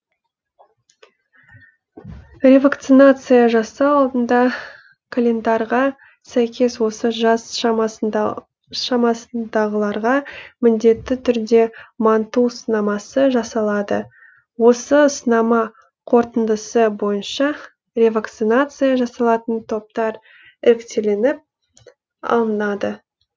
ревакцинация жасау алдында календарға сәйкес осы жас шамасындағыларға міндетті түрде манту сынамасы жасалады осы сынама қортындысы бойынша ревакцинация жасалатын топтар іріктелініп алынады